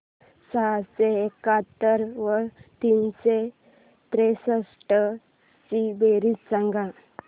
सहाशे एकाहत्तर व तीनशे त्रेसष्ट ची बेरीज सांगा